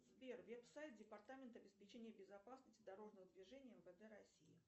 сбер веб сайт департамента обеспечения безопасности дорожного движения мвд россии